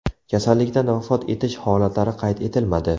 Kasallikdan vafot etish holatlari qayd etilmadi.